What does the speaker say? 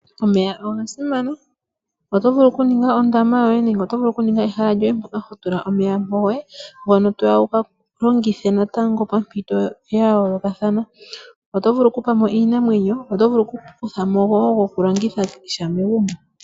Omeya oga simana. Oto vulu okuninga ondama yoye nenge oto vulu okuninga ehala lyoye mpoka ho tula omeya goye ngono toya wuga longithe natango pompito ya yoolokathana. Oto vulu kupa mo iinamwenyo noto vulu okukuthamo wo gokulongitha sha megumbo.